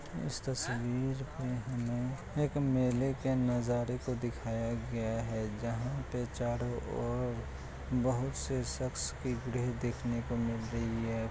इस तस्वीर में हमें एक मेले के नजारे को दिखाया गया है जहाँ पे चारों ओर बहुत से सख्स की भीड़ देखने को मिल रही है।